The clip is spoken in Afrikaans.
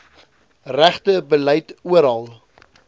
regte beleid oral